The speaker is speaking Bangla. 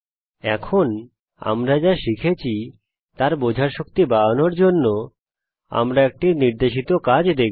এখন আমরা যা শিখেছি তার বোঝার শক্তি বাড়ানোর জন্যে আমরা একটি নির্দেশিত কাজ দেখব